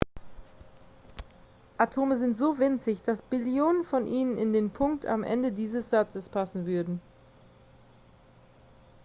atome sind so winzig dass billionen von ihnen in den punkt am ende dieses satzes passen würden